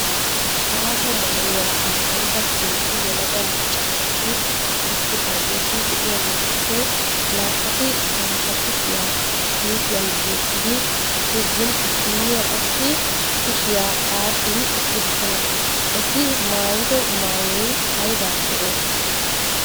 Aaho maayuwa maayida heezzu yelaga macca naati eqqidaageeti de"iyaageetuppe naa"ati bantta kushiyaa kiisiyan yeggin issinniyaa qassi kushiyaa xaaxin eqqidosona. Eti maayido maayoy aybaappe oosettii?